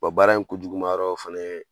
Bɔ baara in kun juguma yɔrɔ ye fana.